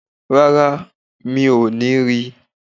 Rárá, mi ò ní ri